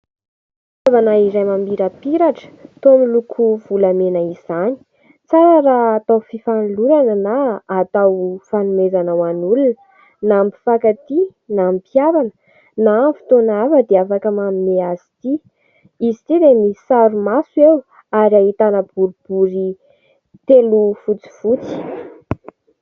Fitaovana iray mamirapiratra toa miloko volamena izany. Tsara raha atao fifanolorana na atao fanomezana ho an'olona. Na ny mpifankatia na ny mpihavana na amin'ny fotoana hafa dia afaka manome azy ity. Izy ty dia misy sary maso eo ary ahitana boribory telo fotsifotsy.